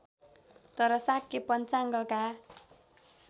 तर शाक्य पञ्चाङ्गका